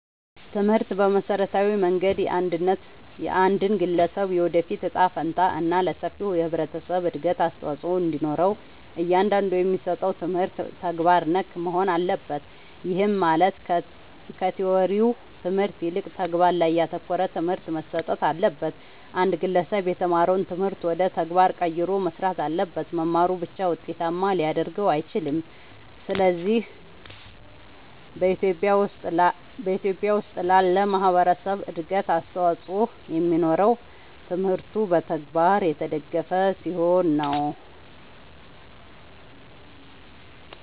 ትምህርት በመሠረታዊ መንገድ የአንድን ግለሠብ የወደፊት እጣ ፈንታ እና ለሠፊው የህብረተሠብ እድገት አስተዋፅኦ እንዲኖረው እያንዳንዱ የሚሠጠው ትምህርት ተግባር ነክ መሆን አለበት። ይህም ማለት ከቲወሪው ትምህርት ይልቅ ተግባር ላይ ያተኮረ ትምህርት መሠጠት አለበት። አንድ ግለሠብ የተማረውን ትምህርት ወደ ተግባር ቀይሮ መሥራት አለበት። መማሩ ብቻ ውጤታማ ሊያደርገው አይችልም። ስለዚህ በኢትዮጲያ ውስጥ ላለ ማህበረሠብ እድገት አስተዋፅኦ የሚኖረው ትምህርቱ በተግባር የተደገፈ ሲሆን ነው።